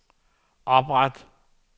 opret